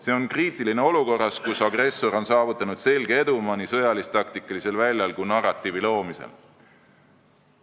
See on kriitiline olukorras, kus agressor on saavutanud selge edumaa nii sõjalis-taktikalisel väljal kui ka narratiivi loomisel.